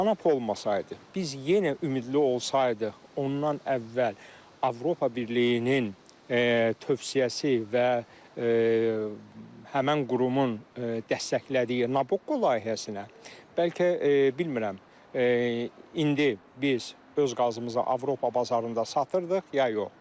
Tanap olmasaydı, biz yenə ümidli olsaydıq, ondan əvvəl Avropa Birliyinin tövsiyəsi və həmin qurumun dəstəklədiyi Nabokko layihəsinə bəlkə bilmirəm, indi biz öz qazımızı Avropa bazarında satırdıq ya yox.